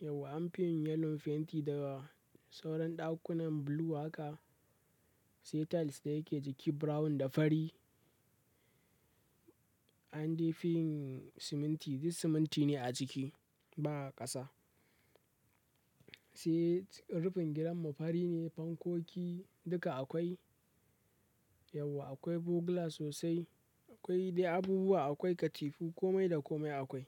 Yauwa an fi yin yellow fenti da sauran ɗakunan bulu haka, sai tiles da yake jiki brown da fari. An dai fi yin siminti duk siminti ne a ciki ba ƙasa sai rufin gidanmu fari ne, fankoki duka akwai. Yauwa akwai bugula sosai, akwai dai abubuwa, akwai katifu, komai da komai akwai.